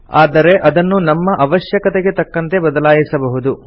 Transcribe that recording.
ಆದರೆ ಅದನ್ನು ನಮ್ಮ ಅವಶ್ಯಕತೆಗೆ ತಕ್ಕಂತೆ ಬದಲಾಯಿಸಬಹುದು